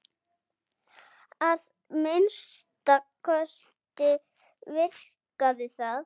Að minnsta kosti virkaði það.